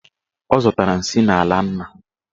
Ọ zọtara nsị n'ala nna.